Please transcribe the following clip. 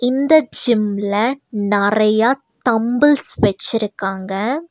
இந்த ஜிம்ல நறையா தம்பிள்ஸ் வெச்சிருக்காங்க.